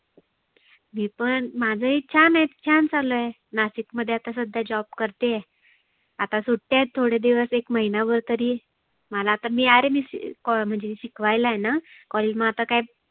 मी पण माझ ही छान आहे. छान चालु आहे नाशिक मध्ये आता सध्या job करते आहे. आता सुट्ट्या आहेत सध्या एक महिनाभर तरी. मला तर आरे मी सी को म्हणजे शिकवायला आहेना college मग आता काय